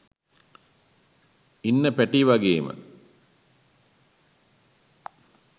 ඉන්න පැට් වගේම